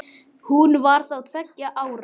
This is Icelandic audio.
Hún var þá tveggja ára.